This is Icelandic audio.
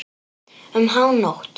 Um hánótt.